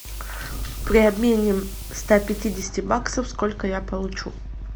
при обмене ста пятидесяти баксов сколько я получу